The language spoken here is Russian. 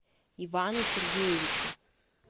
ивану сергеевичу